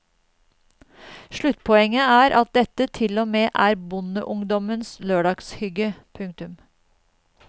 Sluttpoenget er at dette til og med er bondeungdommens lørdagshygge. punktum